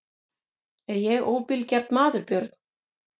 Er ég óbilgjarn maður Björn?